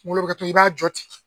kunkolo bi kɛ cogo min i b'a jɔ ten.